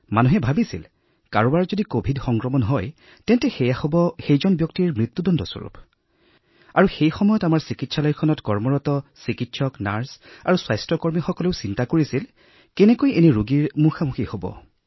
মানুহে ভাবিছিল যে কৰোনা সংক্ৰমণ হলে ইয়াক মৃত্যুদণ্ড বুলি গণ্য কৰা হব আৰু এনে পৰিস্থিতিত ডাঃ চাহিবান অথবা পেৰামেডিকেল কৰ্মচাৰীসকল যিসকলে আমাৰ চিকিৎসালয়ত কাম কৰিছিল তেওঁলোকৰ মাজত ভয় আছিল যে আমি এই ৰোগীসকলৰ কিদৰে সন্মুখীন হম